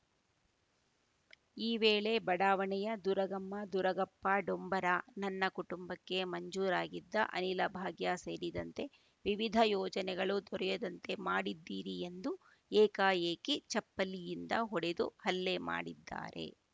ಈ ವೇಳೆ ಬಡಾವಣೆಯ ದುರಗಮ್ಮ ದುರಗಪ್ಪ ಡೊಂಬರ ನನ್ನ ಕುಟುಂಬಕ್ಕೆ ಮಂಜೂರಾಗಿದ್ದ ಅನಿಲ ಭಾಗ್ಯ ಸೇರಿದಂತೆ ವಿವಿಧ ಯೋಜನೆಗಳು ದೊರೆಯದಂತೆ ಮಾಡಿದ್ದೀರಿ ಎಂದು ಏಕಾಏಕಿ ಚಪ್ಪಲಿಯಿಂದ ಹೊಡೆದು ಹಲ್ಲೆ ಮಾಡಿದ್ದಾರೆ